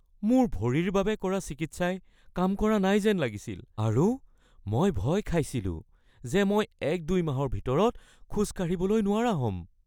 মোৰ ভৰিৰ বাবে কৰা চিকিৎসাই কাম কৰা নাই যেন লাগিছিল আৰু মই ভয় খাইছিলো যে মই ১-২ মাহৰ ভিতৰত খোজ কাঢ়িবলৈ নোৱাৰা হ’ম।